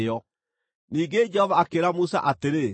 Ningĩ Jehova akĩĩra Musa atĩrĩ,